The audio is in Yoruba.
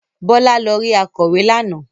Bọ́lá lọ rí akọ̀wé lánàá.